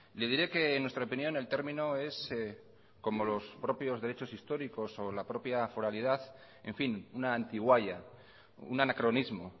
le diré que en nuestra opinión el término es como los propios derechos históricos o la propia foralidad en fin una antigualla un anacronismo